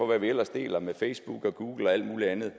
hvad vi ellers deler på facebook google og alt mulig andet